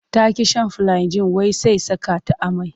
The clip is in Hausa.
Ta ƙi shan filiagin wai sai saka ta amai.